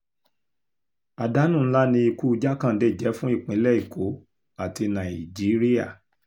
àdánù ńlá ni ikú jákándé jẹ́ fún ìpínlẹ̀ èkó àti nàìjíríà